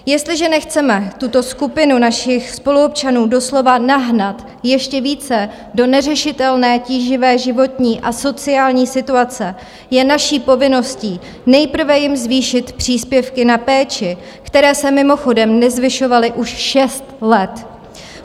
Jestliže nechceme tuto skupinu našich spoluobčanů doslova nahnat ještě více do neřešitelné tíživé životní a sociální situace, je naší povinností nejprve jim zvýšit příspěvky na péči, které se mimochodem nezvyšovaly už šest let.